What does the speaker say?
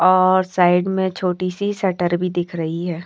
और साइड में एक छोटी सी शटर भी दिख रही है।